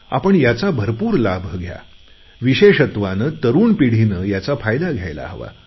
आपण याचा भरपूर लाभ घ्या विशेषत्वाने तरुण पिढीने याचा फायदा घ्यायला हवा